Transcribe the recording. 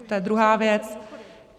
To je druhá věc.